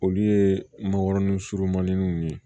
Olu ye makɔrɔni surumaninw ye